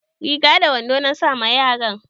Riga da wando na sa ma yaran.